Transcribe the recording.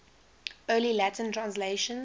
early latin translations